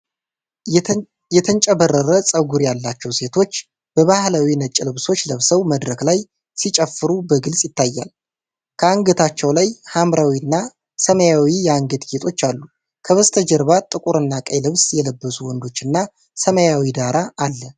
የተንጨባረረ ጸጉር ያላቸዉ ሴቶች በባህላዊ ነጭ ልብሶች ለብሰው መድረክ ላይ ሲጨፍሩ በግልጽ ይታያል። ከአንገታቸው ላይ ሐምራዊና ሰማያዊ የአንገት ጌጦች አሉ። ከበስተጀርባ ጥቁርና ቀይ ልብስ የለበሱ ወንዶችና ሰማያዊ ዳራ አለ።